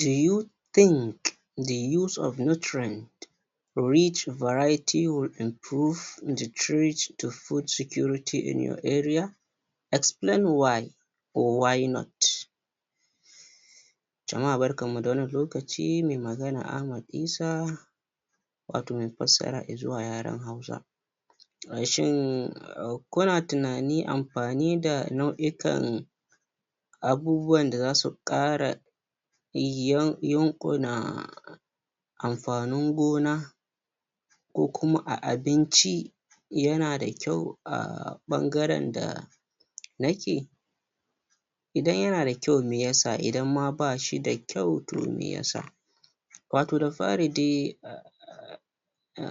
do you think the use of nutrient reach variety will improve the treat to food security in your area explain why or why not jama'a barkan mu da wannan lokaci me magana Ahmad Isa wato me fassara izuwa yaren hausa we shi kuna tunani amfani da nau'ikan abubuwan da zasu ƙara amfanin gona ko kuma a abinci yana da kyau a ɓangarenda nake idan yana da kyau me yasa idan ma bashi da kyau to me yasa wato da fari de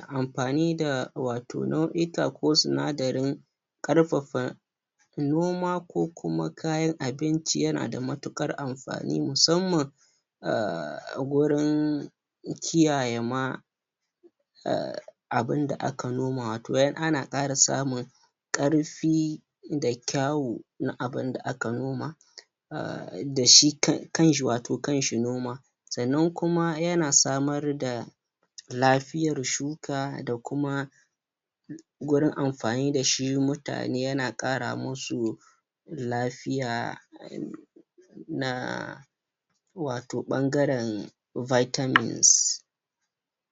amfani da wato nau'ika ko sinadarin ƙarfafa noma ko kuma kayan abinci yana da matuƙar amfani musammam a gurin kiyaye ma abun da aka noma wato in ana ƙara samun ƙarfi da kyawu na abinda aka noma dashi kanshi um noma sannan kuma yana samar da lafiyar shuka da kuma gurin amfani dashi mutane yana ƙara musu lafiya na wato ɓangaren vitamins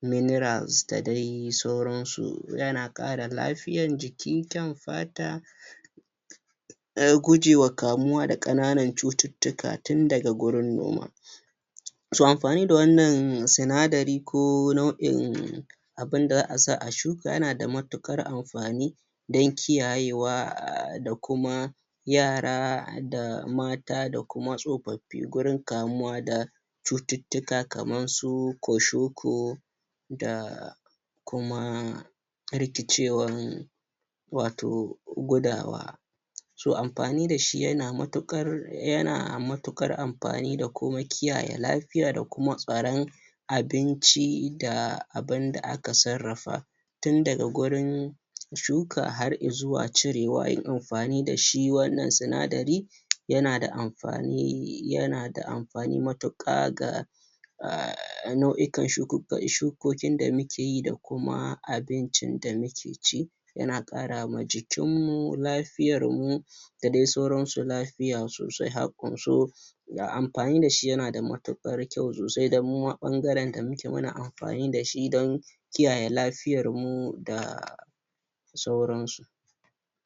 minerals da dai sauransu yana ƙara lafiyan jiki kyan fata se gujewa kamuwa da ƙananan cututtuka tun daga gurun noma to amfani da wannan sinadari ko nau'in abinda za'a sa a shuka yana da matuƙar amfani don kiyaye wa da kuma yara da mata da kuma tsufaffi gurin kamuwa da cututtuka kaman su koshoko da kuma rikice wan wato gudawa to amfani dashi yana matuƙar um amfani da kuma kiyaye lafiya da kuma tsaron abinci da abinda aka sarrafa tin daga gurin shuka har izuwa cirewa yinamfani dashi wannan sinadari yananda amfani um matuƙa ga a nau'ikan shukukin da muke yi da kuma abincin da muke ci yana ƙara ma jikin mu lafiyar mu da dai sauransu lafiya sosai ga amfani dashi yana da matuƙar kyau sosai dan muma ɓangaren da muke muna amfani dashi dan kiyaye lafiyarmu da sauransu